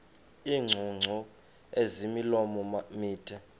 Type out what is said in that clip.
iingcungcu ezimilomo mide